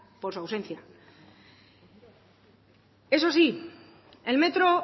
por su ausencia eso sí el metro